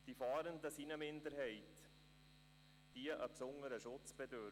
Die Fahrenden sind eine Minderheit, die eines besonderen Schutzes bedarf.